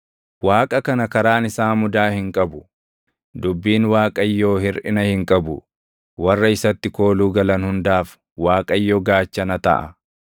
Waaqa kana karaan isaa mudaa hin qabu; dubbiin Waaqayyoo hirʼina hin qabu; warra isatti kooluu galan hundaaf Waaqayyo gaachana taʼa.